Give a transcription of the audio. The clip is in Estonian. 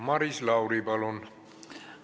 Maris Lauri, palun!